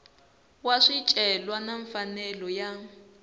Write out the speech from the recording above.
wa swicelwa na mfanelo ya